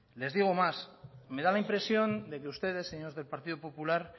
les digo más me da la impresión de que ustedes señores del partido popular